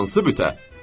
Hansı bütə?